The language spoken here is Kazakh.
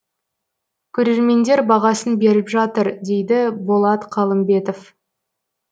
көрермендер бағасын беріп жатыр дейді болат қалымбетов